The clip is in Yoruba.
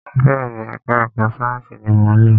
Bẹẹni, ẹka ẹ̀kọ́ sáyẹnsì ní mọ ń lọ.